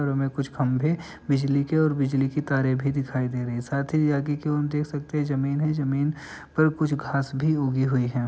घरों में कुछ खम्भे बिजली के और बिजली के तारे भी दिखाई दे रही हैं साथ ही आगे कि ओर हम देख सकते हैं जमीन है। जमीन पर कुछ घास भी उगी हुई हैं |